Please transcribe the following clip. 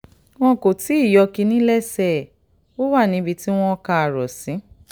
wọn kò tí ì yọ́ kínní lẹ́sẹ̀ kínní lẹ́sẹ̀ ẹ̀ ó wà níbi tí wọ́n kà á rò sí